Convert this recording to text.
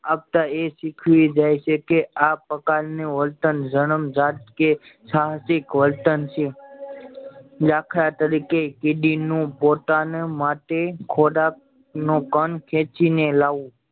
આપતા એ શીખવી જાય છે કે આ પ્રકાર ને વર્તન જનામ્જાત કે કે સાહસિક વર્તન છે દાખલા તરીકે કીડી નું પોતાના માટે ખોરાક નું કણ કેંચી ને લાવવું